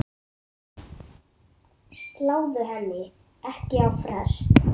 Sláðu henni ekki á frest.